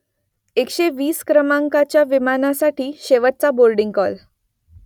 एकशे वीस क्रमांकाच्या विमानासाठी शेवटचा बोर्डिंग कॉल